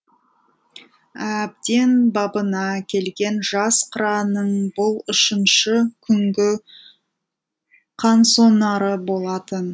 әбден бабына келген жас қыранның бұл үшінші күнгі қансонары болатын